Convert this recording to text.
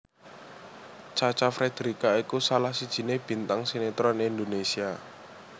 Cha Cha Frederica iku salah sijiné bintang sinetron Indonésia